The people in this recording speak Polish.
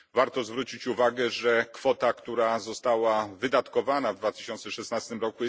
Warto zwrócić uwagę, że kwota, która została wydatkowana w 2016 r.,